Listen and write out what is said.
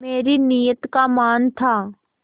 मेरी नीयत का मान था